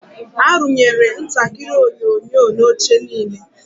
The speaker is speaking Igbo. Arụnyere ntakịrị onyonyo na oche niile.